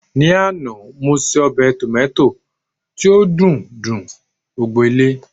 ní àná mo se obe tomota ti o dun dun gbogbo ile